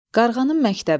Qarğanın məktəbi.